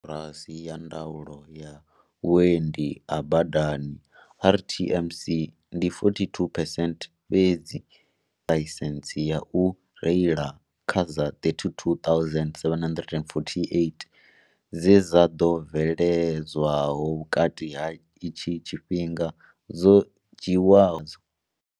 Koporasi ya ndaulo ya vhuendi ha badani RTMC, ndi 42 phesent fhedzi ḽaisentsi ya u reila kha dza 32 748 dze dza ḓo bvele dzwaho vhukati ha itshi tshifhinga dzo dzhiwaho.